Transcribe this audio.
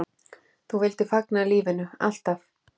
Þú vildir fagna lífinu, alltaf.